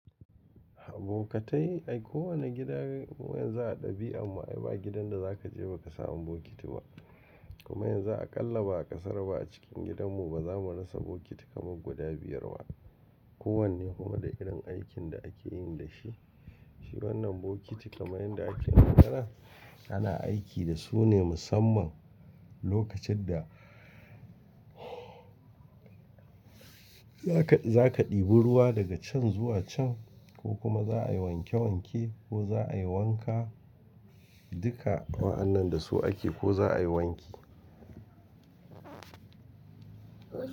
Abokatai, a kowane gida yanzu a ɗabi'a amma ai ba gidan da za ka je ba ka sa bokiti ba. Kuma yanzu aƙalla ba ƙasar ba a cikin gidanmu ba za mu rasa bokiti kamar guda biyar ba. Ko wanne kuma da irin aikin da ake yi da shi. Shi wannan bokiti kamar yadda ake magana ana aiki da su ne musamman lokacin da za ka, za ka ɗibi ruwa daga can zuwa can ko kuma za a yi wanke wanke ko za a yi wanka, duka wa'annan da su ake ko za a yi wanki.